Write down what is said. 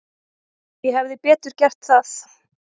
Ég hefði betur gert það.